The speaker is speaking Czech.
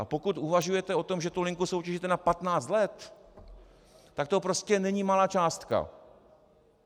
A pokud uvažujete o tom, že tu linku soutěžíte na 15 let, tak to prostě není malá částka.